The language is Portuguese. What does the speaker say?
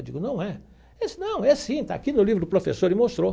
Eu digo, não é. Ele disse, não, é sim, está aqui no livro do professor e mostrou.